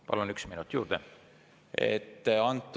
Palun, üks minut juurde!